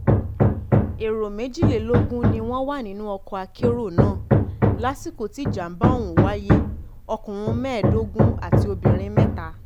èrò méjìlélógún ni wọ́n wà nínú ọkọ̀ akérò náà lásìkò tí ìjàmbá ọ̀hún wáyé ọkùnrin mẹ́ẹ̀ẹ́dógún àti obìnrin mẹ́ta